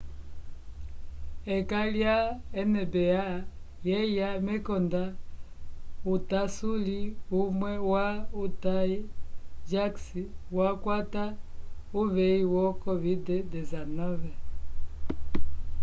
ekanga ya nba yeya mekonda utasuli umwe wa utah jazz wakwata uveyi yo covid-19